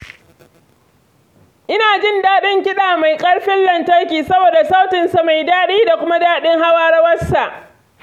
Ina jin daɗin kiɗa mai ƙarfin lantarki saboda sautinsa mai daɗi da kuma daɗin hawa rawarsa.